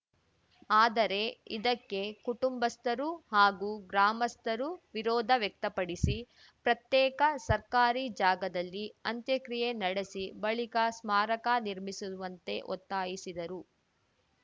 ಆದರೆ ಇದಕ್ಕೆ ಕುಟುಂಬಸ್ಥರು ಹಾಗೂ ಗ್ರಾಮಸ್ಥರು ವಿರೋಧ ವ್ಯಕ್ತಪಡಿಸಿ ಪ್ರತ್ಯೇಕ ಸರ್ಕಾರಿ ಜಾಗದಲ್ಲಿ ಅಂತ್ಯಕ್ರಿಯೆ ನಡೆಸಿ ಬಳಿಕ ಸ್ಮಾರಕ ನಿರ್ಮಿಸುವಂತೆ ಒತ್ತಾಯಿಸಿದರು